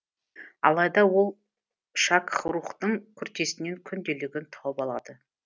алайда ол шакх рукхтың күртесінен күнделігін тауып алады